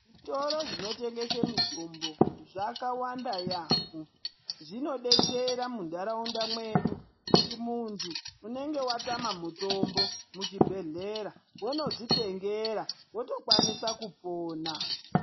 Zvitoro zvinotengese mitombo zvakawanda yamho zvinodetsera mundaraunda mwedu kuti muntu unenge watama mutombo muchibhehlera wondodzitengera wotokwanisa pona.